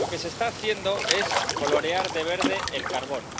Lo que se está haciendo es colorear de verde el carbón